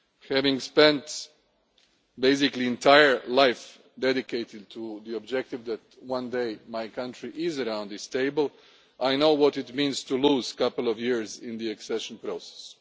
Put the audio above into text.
Having spent basically my entire life dedicated to the objective that one day my country would be around this table, I know what it means to lose a couple of years in the accession process.